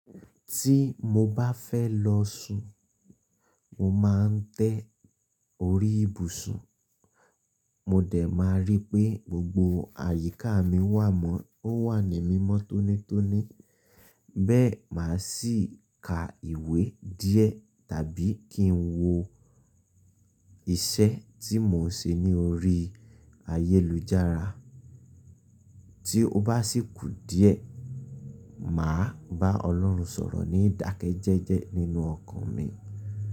Tí mo bá fẹ́ lọ sùn, mo máa ń tẹ orí ìbùsùn, mo dẹ̀ máa rí pé gbogbo àyíká mi wà mọ́, ó wà ní mímọ́ tónítóní. Bẹ́ẹ̀ máa sì ka ìwé díẹ̀ tàbí kí n wo iṣẹ́ tí mò ń ṣe ní orí ayélujára. Tí ó bá sì kù díẹ̀, mà á bá Ọlọ́run sọ̀rọ̀ ní ìdákẹ́jẹ́jẹ́ nínú ọkàn mi.